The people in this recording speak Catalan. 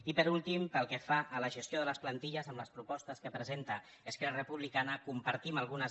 i per últim pel que fa a la gestió de les plantilles de les propostes que presenta esquerra republicana en compartim algunes